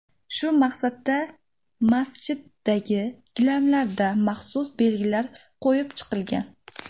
Shu maqsadda masjiddagi gilamlarda maxsus belgilar qo‘yib chiqilgan.